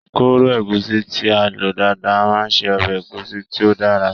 Kóró ẹ̀gúsí tí a lọ dáadáa máa ṣe ọbẹ̀ ẹ̀gúsí tí ó dára.